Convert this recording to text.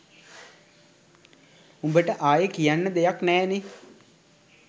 උබට ආයෙ කියන්න දෙයක් නෑනෙ?